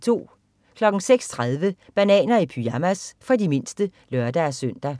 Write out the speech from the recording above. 06.30 Bananer i pyjamas. For de mindste (lør-søn)